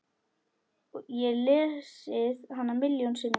Ég lesið hana milljón sinnum.